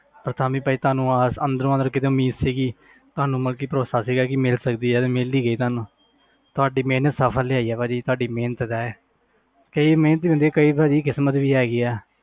ਪਰ ਤਾਂ ਵੀ ਤੁਹਾਨੂੰ ਆਸ ਅੰਦਰੋਂ ਮਤਲਬ ਕਿਤੇ ਉਮੀਦ ਸੀਗੀ ਤੁਹਾਨੂੰ ਮਤਲਬ ਕਿ ਭਰੌਸਾ ਸੀਗਾ ਕਿ ਮਿਲ ਸਕਦੀ ਹੈ ਤੇ ਮਿਲ ਹੀ ਗਈ ਤੁਹਾਨੂੰ ਤੁਹਾਡੀ ਮਿਹਨਤ ਸਫ਼ਲ ਹੋਈ ਹੈ ਭਾਜੀ ਤੁਹਾਡੀ ਮਿਹਨਤ ਦਾ ਹੈ ਤੇ ਇਹ ਮਿਹਨਤ ਹੀ ਹੁੰਦੀ ਆ ਕਈ ਵਾਰੀ ਕਿਸ਼ਮਤ ਵੀ ਹੈਗੀ ਹੈ